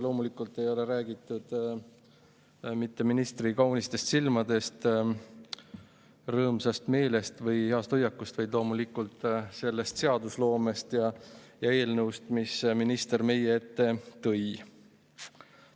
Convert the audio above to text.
Loomulikult ei ole räägitud mitte ministri kaunitest silmadest ja rõõmsast meelest või heast hoiakust, vaid sellest seadusloomest ja eelnõust, mis minister meie ette tõi.